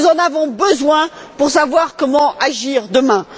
Nous en avons besoin pour savoir comment agir demain.